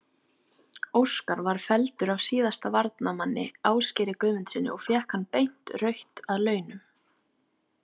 Óskar var felldur af síðasta varnarmanni, Ásgeiri Guðmundssyni og fékk hann beint rautt að launum.